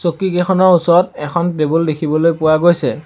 চকীকেইখনৰ ওচৰত এখন টেবুল দেখিবলৈ পোৱা গৈছে।